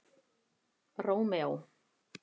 Rómeó